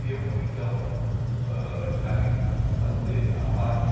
E eu fui então ãh encarregado de fazer a parte...